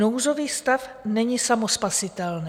Nouzový stav není samospasitelný.